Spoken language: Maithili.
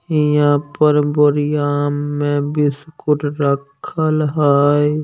यहाँ पर बोरिया में बिस्कुट रखल हई।